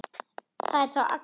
Það er þá Agnes!